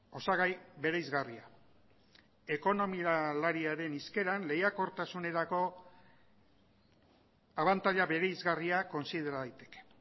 osagai bereizgarria ekonomialariaren hizkeran lehiakortasunerako abantaila bereizgarria kontsidera daiteke